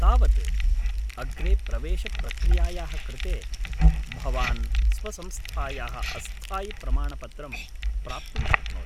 तावत्, अग्रे प्रवेशप्रक्रियायाः कृते, भवान् स्वसंस्थायाः अस्थायि प्रमाणपत्रं प्राप्तुं शक्नोति।